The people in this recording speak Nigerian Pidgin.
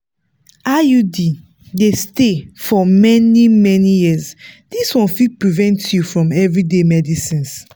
iud dey stay for many-many years this one fit prevent you from everyday medicines.